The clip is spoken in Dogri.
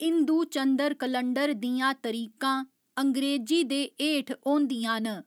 हिंदू चंद्र कलंडर दियां तरीकां अंग्रेजी दे हेठ होंदियां न।